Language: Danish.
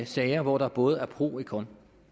sager hvor der både er pro et con